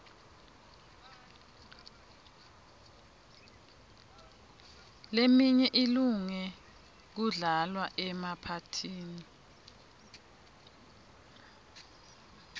leminye ilunge kudlalwa emaphathini